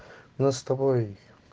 у нас с тобой